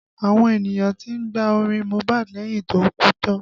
Àwọn ènìyàn tí ń gba orin Mohbad lẹ́yìn tó kú tán